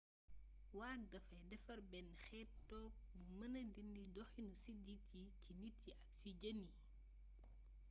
waag dafay defar benn xeet tooke bu mëna dindi doxinu siddit yi ci nit ñi ak jën yi